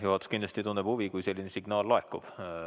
Juhatus kindlasti tunneb huvi, kui selline signaal laekub.